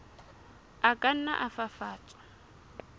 a ka nna a fafatswa